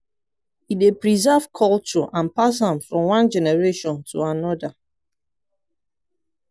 e dey preserve culture and pass am from one generation to anoda.